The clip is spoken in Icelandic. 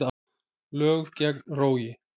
Lög gegn rógi